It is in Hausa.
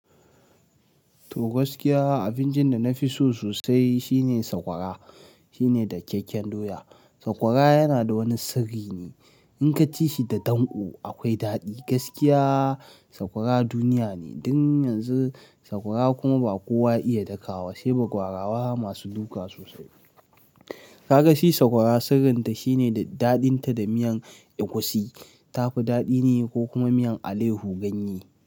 To gaskiya abincin da na fi so sosai shine sakwara. Shi ne dakyakken doya. Sakwara yana da wani sirri ne. In ka ci shi da danƙo akwai daɗi. Gaskiya sakwara duniya ne. Dan yanzu sakwara kuma ba kowa ya iya daka wa, sai bagwarawa masu duka sosai. Kaga shi sakwara sirrin ta shine da daɗin ta da miyan egusi ta fi daɗi ne ko kuma miyan aleyhu ganye.